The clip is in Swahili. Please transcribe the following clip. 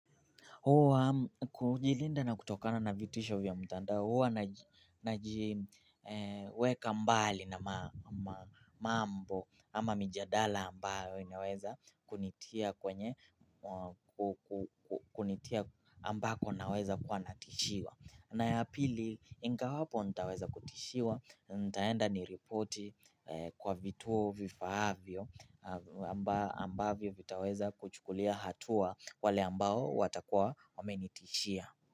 Huwa kujilinda na kutokana na vitisho vya mitandao huwa najiweka mbali na mambo ama mijadala ambayo inaweza kunitia kwenye kunitia ambako naweza kuwa natishiwa. Na ya pili, ingawapo nitaweza kutishiwa, nitaenda niripoti kwa vituo vifaavyo ambavyo vitaweza kuchukulia hatua wale ambao watakua wamenitishia.